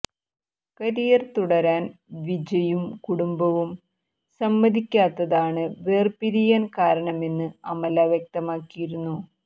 career തുടരാൻ വിജയും കുടുംബവും സമ്മതിക്കാത്തതാണ് വേർപിരിയാൻ കാരണമെന്ന് അമല വ്യക്തമാക്കിയിരുന്നു